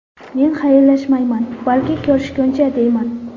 Men xayrlashmayman, balki ko‘rishguncha deyman.